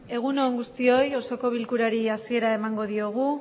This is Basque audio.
egun on guztioi osoko bilkurari hasiera emango diogu